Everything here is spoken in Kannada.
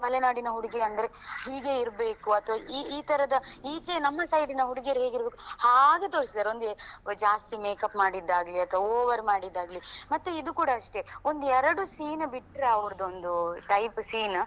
ಮಲೆನಾಡಿನ ಹುಡುಗಿ ಅಂದ್ರೆ ಹೀಗೆ ಇರ್ಬೇಕು ಅತ್ವಾ ಈ ಈ ತರದ ಈಚೆ ನಮ್ಮ side ನ ಹುಡುಗಿಯರು ಹೇಗೆ ಇರ್ಬೇಕು ಹಾಗೆ ತೋರಿಸಿದ್ದಾರೆ ಒಂದೇ ಜ್ಯಾಸ್ತಿ makeup ಮಾಡಿದ್ದ ಆಗ್ಲಿ ಅತ್ವಾ over ಮಾಡಿದಾಗ್ಲಿ ಮತ್ತೆ ಇದು ಕೂಡ ಅಷ್ಟೆ ಒಂದು ಎರಡು scene ಬಿಟ್ರೆ ಅವರ್ದು ಒಂದು type scene ,